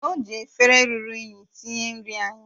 O ji efere ruru unyi tinye nri anyị